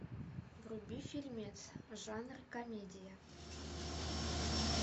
вруби фильмец жанр комедия